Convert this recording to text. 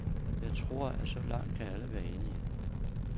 Jeg tror, at så langt kan alle være enige.